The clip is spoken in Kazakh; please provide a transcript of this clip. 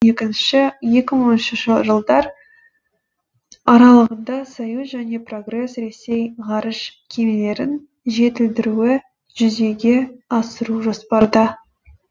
екінші екі мың он үшінші жылдар аралығында союз және прогресс ресей ғарыш кемелерін жетілдіруді жүзеге асыру жоспарда